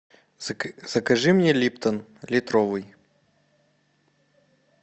закажи мне липтон литровый